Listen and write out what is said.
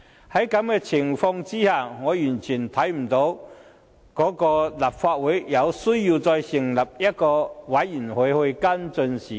在這種情況下，我完全看不到立法會有需要再成立專責委員會跟進事件。